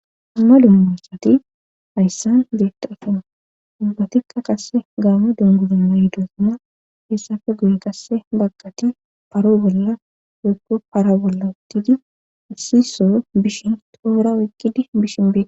Molu mumosati hayssan zeetta afon ubbatikka qasse gaame dunguduma yidosana hessafe guy kasse baggati paroo bolla wekko para bolla ttidi issiso bishin toomora wekqidi bishin bee..